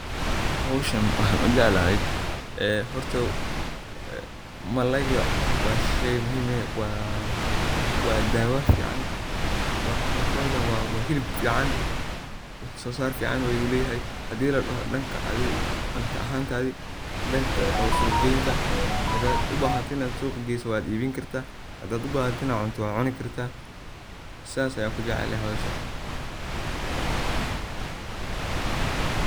Hoshan waxan ujeclahy horta malayga wa shey muhim eh, wa dawo fican wa mxan kawada hilib fican wax sosar fican ayu leyahay, hadi adhi ladoho danka suq geynta hadad ubahato inad suqa geyso wad ibini karta hadad ubahato inad cunto wad cuni karta sas ayan kujeclahay.